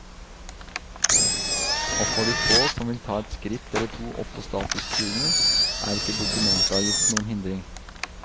Og for de få som vil ta et skritt eller to opp på statusstigen, er ikke dokumentavgiften noen hindring.